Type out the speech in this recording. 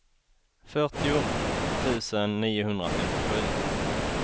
fyrtio tusen niohundrafemtiosju